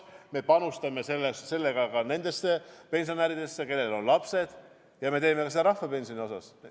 Me panustame sellega nendesse pensionäridesse, kellel on lapsed, ja me teeme seda ka rahvapensioni osas.